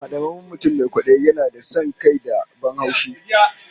Hadamammen mutum mai kwadayi yana da son kai da ban haushi